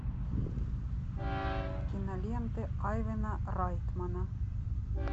киноленты айвена райтмена